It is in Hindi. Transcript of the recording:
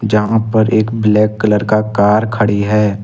जहां पर एक ब्लैक कलर का कार खड़ी है।